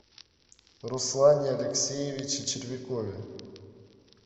руслане алексеевиче червякове